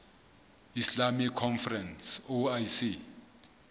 islamic conference oic